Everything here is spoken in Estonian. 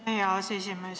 Aitäh, hea aseesimees!